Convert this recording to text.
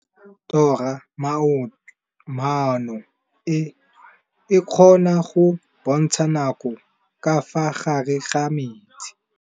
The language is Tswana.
Toga-maanô e, e kgona go bontsha nakô ka fa gare ga metsi.